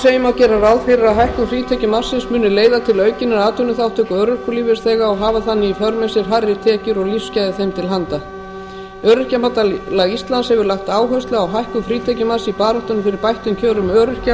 segir má gera ráð fyrir að hækkun frítekjumarksins muni leiða til aukinnar atvinnuþátttöku örorkulífeyrisþega og hafa þannig í för með sér hærri tekjur og lífsgæði þeim til handa öryrkjabandalag íslands hefur lagt áherslu á hækkun frítekjumarks í baráttunni fyrir bættum kjörum öryrkja